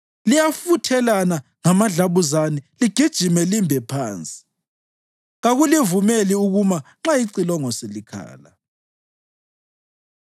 Liyafuthelana ngamadlabuzane ligijime limbe phansi; kakulivumeli ukuma nxa icilongo selikhala.